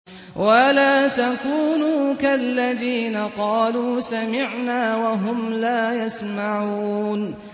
وَلَا تَكُونُوا كَالَّذِينَ قَالُوا سَمِعْنَا وَهُمْ لَا يَسْمَعُونَ